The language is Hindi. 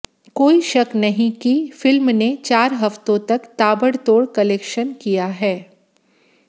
कोई शक नहीं कि फिल्म ने चार हफ्तों तक ताबड़तोड़ कलेक्शन किया है